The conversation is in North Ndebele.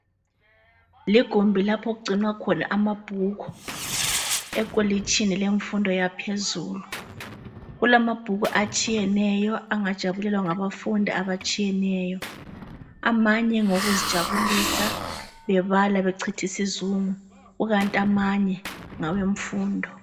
ligumbi lapho okugcinwa khona amabhuku ekolitshini lemfundo yaphezulu kulamabhuku atshiyeneyo angajabulelwa ngabafundi abatshiyeneyo amanye ngawokuzijabulisa bebala bechitha isizungu kukanti amanye ngawemfundo